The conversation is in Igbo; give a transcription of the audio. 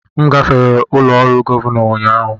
M gafere ụlọ ọrụ Gọvanọ ụnyahụ.